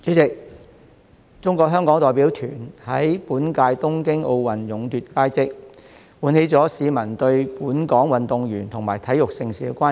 代理主席，中國香港代表團於本屆東京奧運勇奪佳績，喚起市民對本港運動員及體育盛事的關注。